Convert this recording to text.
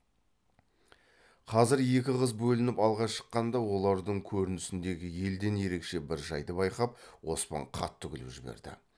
қазір екі қыз бөлініп алға шыққанда олардың көрінісіндегі елден ерекше бір жайды байқап оспан қатты күліп жіберді